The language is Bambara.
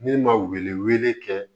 Ne ma wele wele kɛ